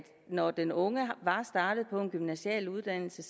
når den unge var startet på en gymnasial uddannelse